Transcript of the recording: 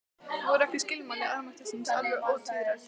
Voru ekki skilmæli almættisins alveg ótvíræð?